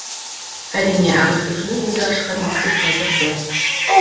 әрине ағартушының өзі ашқан мектеп қазір жоқ